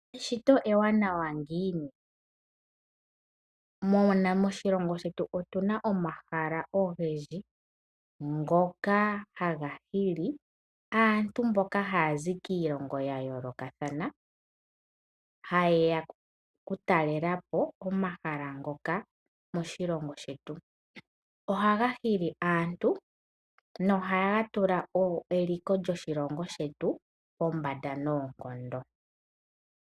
Eshito ewanawa ngiini, moshilongo shetu otunsa omahala ogendji ngoka haga hili aantu mboka haya zi kiilongo ya yoolokathana. Ha yeya oku talelapo omahala ngoka moshilongo shetu. Ohaga hili aantu no haga tula eliko lyoshilongo shetu pombanda noonkondo.